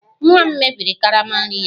Nwa m mebiri karama nri ya